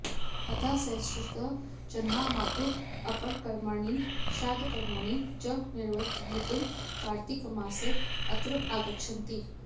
अतः सहस्रशः जनाः मातुः अपरकर्माणि श्राद्धकर्माणि च निर्वतयितुं कार्त्तिकमासे अत्र आगच्छन्ति